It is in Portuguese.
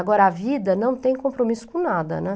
Agora, a vida não tem compromisso com nada, né?